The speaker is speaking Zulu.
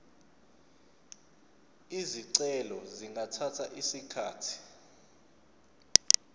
izicelo zingathatha isikhathi